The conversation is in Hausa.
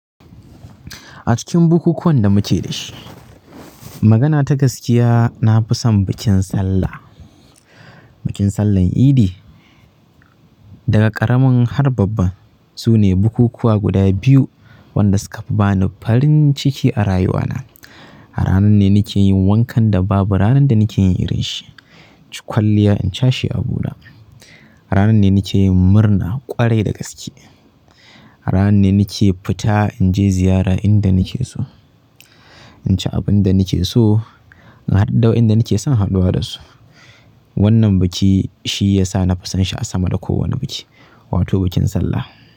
A cikin bukukuwan da muke da shi, magana ta gaskiya na fi son bikin Sallah, bikin Sallan Idi. Daga ƙaramin har babban su ne bukukuwa guda biyu wanda suka ba ni farin ciki a rayuwa na. A ranar ne nake yi wankan da babu ranar da nake yi irin shi, na ci kwalliya in cashe abuna. Ranar ne nake yin murna ƙwarai da gaske. Ranar ne nake fita in je ziyara inda nake so, in ci abin da nake so, in haɗu da wayanda nake son haɗuwa da su. Wannan biki shi ya sa na fi sonsa a sama da kowane biki, wato bikin Sallah.